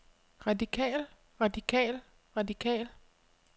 radikal radikal radikal